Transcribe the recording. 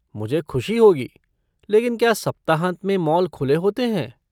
मुझे खुशी होगी लेकिन क्या सप्ताहांत में मॉल खुले होते हैं?